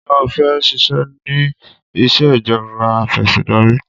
Ṣé o fẹ́ ṣiṣẹ́ ní ìṣèjọba afẹ̀sìndarí?